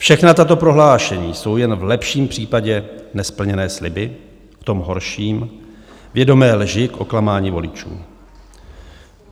Všechna tato prohlášení jsou jen v lepším případě nesplněné sliby, v tom horším, vědomé lži k oklamání voličů.